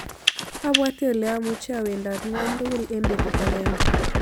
Abwate ole amuche awendat ng'wony tugul eng' betut agenge